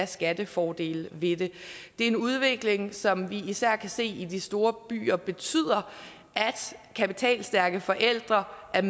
skattefordele ved det det er en udvikling som vi især kan se i de store byer og som betyder at kapitalstærke forældre er